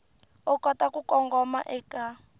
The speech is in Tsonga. u kota ku kongoma eka